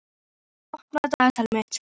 Þorvaldur, opnaðu dagatalið mitt.